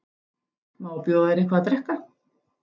Má bjóða þér eitthvað að drekka?